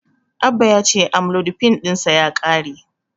Abba ya ce Amlodipin ɗinsa ya ƙare.